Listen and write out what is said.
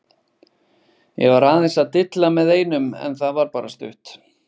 Ég var aðeins að dilla með einum en það var bara stutt.